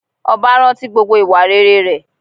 Ọba rántí gbogbo ìwà rere rẹ̀